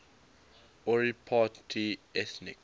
ori party ethnic